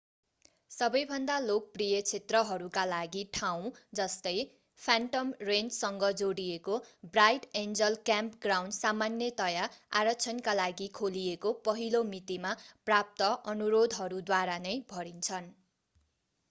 सबैभन्दा लोकप्रिय क्षेत्रहरूका लागि ठाउँ जस्तै फ्यान्टम रेन्चसँग जोडिएको ब्राइट एन्जल क्याम्पग्राउन्ड सामान्यतया आरक्षणका लागि खोलिएको पहिलो मितिमा प्राप्त अनुरोधहरूद्वारा नै भरिन्छन्